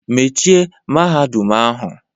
Mechie Mahadum ahụ!